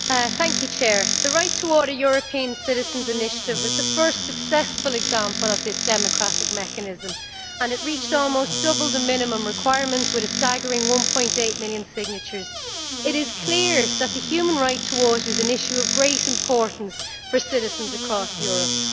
Madam President. The Right2Water European Citizens' Initiative was the first successful example of this democratic mechanism and it reached almost double the minimum requirements with a staggering 1.8 million signatures. It is clear that the human right to water is an issue of great importance for citizens across Europe.